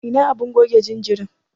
Ina abun goge jinjirin?